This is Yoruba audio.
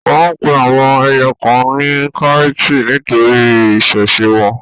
Wọ́n pe àwọn ẹyẹ kan ní káìtì nítorí ìṣesí wọn.